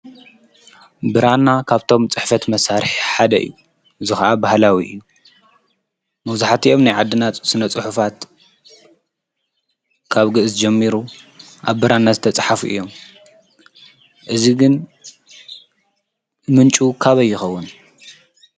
ብራና ካፍቶም ፅሕፈት መሳርሒ ሓደ እዩ። እዚ ኽዓ ባህላዊ እዩ። መብዛሕቲኦም ናይ ዓድና ስነ ፅሑፋት ካብ ግእዝ ጀሚሩ ኣብ ብራና ዝተፅሓፉ እዮም። እዚ ግን ምንጩ ካበይ ይኸዉን።